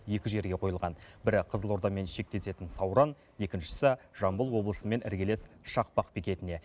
екі жерге қойылған бірі қызылордамен шектесетін сауран екіншісі жамбыл облысымен іргелес шақпақ бекетіне